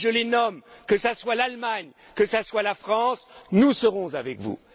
Et je les nomme que ce soit l'Allemagne, que ce soit la France, nous serons avec vous.